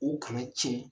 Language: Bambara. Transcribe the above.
U kana tiɲɛ